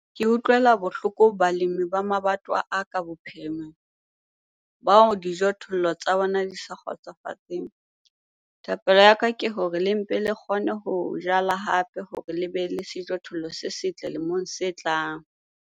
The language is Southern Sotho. Ke utlwela bohloko balemi ba mabatowa a ka bophirimela bao dijothollo tsa bona di sa kgotsofatseng - thapello ya ka ke hore le mpe le kgone ho jala hape hore le be le sejothollo se setle lemong se tlang.